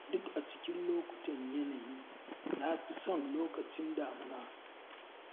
Duk a cikin lokutan yanayi na fi son lokacin damuna.